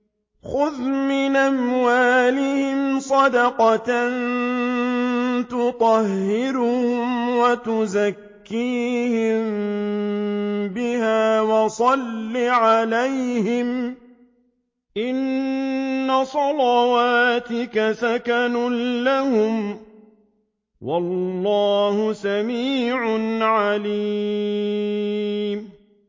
خُذْ مِنْ أَمْوَالِهِمْ صَدَقَةً تُطَهِّرُهُمْ وَتُزَكِّيهِم بِهَا وَصَلِّ عَلَيْهِمْ ۖ إِنَّ صَلَاتَكَ سَكَنٌ لَّهُمْ ۗ وَاللَّهُ سَمِيعٌ عَلِيمٌ